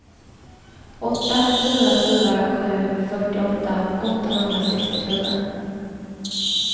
åtta fyra fyra sju fyrtioåtta åttahundrasextiofyra